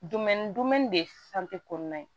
de kɔnɔna ye